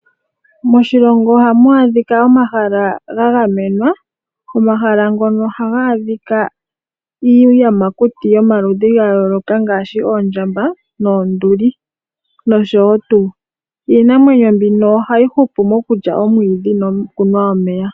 Moshilongo ohamu adhika omahala ga gamenwa. Omahala ngono ohaga adhika iiyamakuti yomaludhi ga yooloka ngaashi oondjamba, oonduli nosho tuu. Iinamwenyo mbino ohayi hupu mokulya omwiidhi nokunwa omeya.